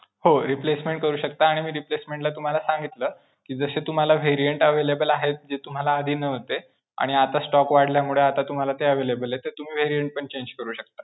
हो. replacement करू शकता आणि मी relacement ला तुम्हाला सांगितलं, कि जसे तुम्हाला variant available आहेत, जे तुम्हाला आधी नव्हते आणि आता stock वाढल्यामुळे आता तुम्हाला ते available आहेत तर तुम्ही variant पण change करू शकता.